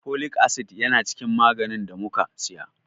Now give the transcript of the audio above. Folic acid yana cikin maganin ɗa muka saya.